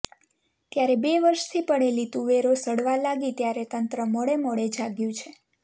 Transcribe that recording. ત્યારે બે વર્ષથી પડેલી તુવેરો સડવા લાગી ત્યારે તંત્ર મોડે મોડે જાગ્યું છે